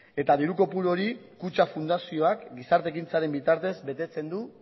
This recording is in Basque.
eta diru kopuru hori kutxa fundazioak gizarte ekintzaren bitartez betetzen du